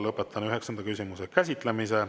Lõpetan üheksanda küsimuse käsitlemise.